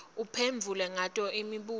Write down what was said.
uphendvule ngato imibuto